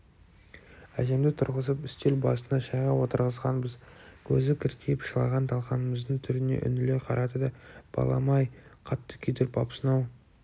әжемді тұрғызып үстел басына шайға отырғызғанбыз көзі кіртиіп шылаған талқанымыздың түріне үңіле қарады да балам-ай қатты күйдіріп апсың-ау